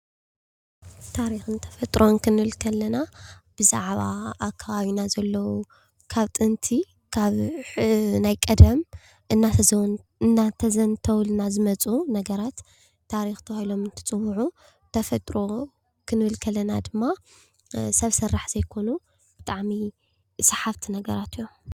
ታሪክን ተፈጥሮን ክንብል ከለና ብዛዕባ ኣብ ከባቢና ዘለው ካብ ጥንቲ ካብ ናይ ቀደም እናተዘተውልና ዝመፁ ነገራት ታሪኽ ተባሂሎም እትፅውዑ ተፈጥሮ ክንብል ከለና ድማ ሰብ ሰራሕ ዘይኮኑ ብጣዕሚ ሰሓብቲ ነገራት እዮም ።